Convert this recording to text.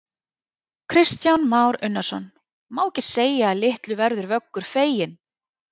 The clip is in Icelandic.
Kristján Már Unnarsson: Má ekki segja að litlu verður Vöggur feginn?